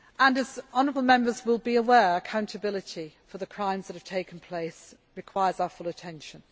be done. As honourable Members will be aware, accountability for the crimes that have taken place requires our full attention.